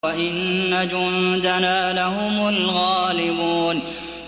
وَإِنَّ جُندَنَا لَهُمُ الْغَالِبُونَ